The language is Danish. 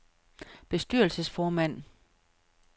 bestyrelsesformand